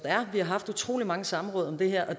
er vi har haft utrolig mange samråd om det her og